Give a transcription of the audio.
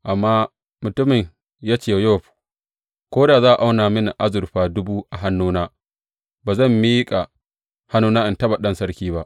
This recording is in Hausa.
Amma mutumin ya ce wa Yowab, Ko da za a auna mini azurfa dubu a hannuna, ba zan miƙa hannuna in taɓa ɗan sarki ba.